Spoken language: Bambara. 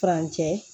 Furancɛ